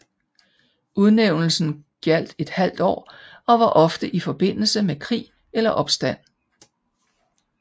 Udnævnelsen gjaldt et halvt år og var ofte i forbindelse med krig eller opstand